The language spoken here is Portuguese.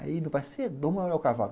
Aí meu pai cavalo.